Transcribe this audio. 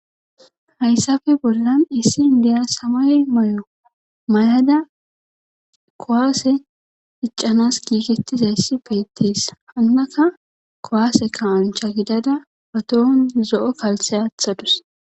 Haysape bollan issi inddiya samaye mayo mayada kuwaase iccanas giigettizayssi beettes hanaka kuwaase kaa7ancha gidada ba tohon zo7o kalssiya aatha dus.